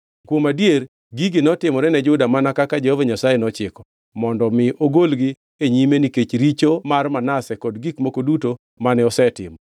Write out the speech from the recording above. Kuom adier gigi notimore ne Juda mana kaka Jehova Nyasaye nochiko, mondo mi ogolgi e nyime nikech richo mar Manase kod gik moko duto mane osetimo,